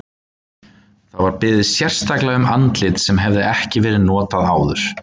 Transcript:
Það var beðið sérstaklega um andlit sem hefði ekki verið notað áður.